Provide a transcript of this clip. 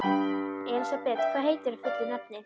Elisabeth, hvað heitir þú fullu nafni?